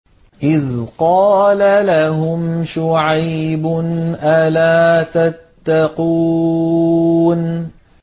إِذْ قَالَ لَهُمْ شُعَيْبٌ أَلَا تَتَّقُونَ